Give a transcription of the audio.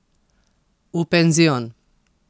V penzion.